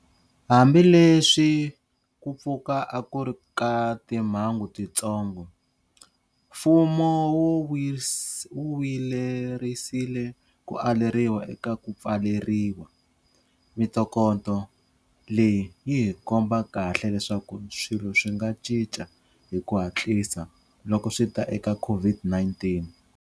Hambileswi ku pfuka a ku ri ka timhangu tintsongo, mfumo wu vuyelerisile ku aleriwa eka ku pfaleriwa. Mitokoto leyi yihi komba kahle leswaku swilo swi nga cinca hi ku hatlisa loko swita eka COVID-19.